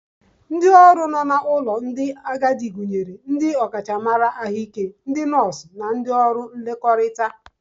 Ndị ọrụ nọ n'ụlọ ndị agadi gụnyere ndị ọkachamara Ahụike, ndị nọọsụ, ndị ọrụ mmekọrịta